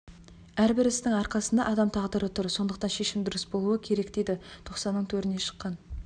әрбір істің арқасында адам тағдыры тұр сондықтан шешім дұрыс болуы керек дейді тоқсанның төріне шыққан